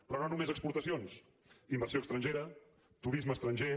però no només exportacions inversió estrangera turisme estranger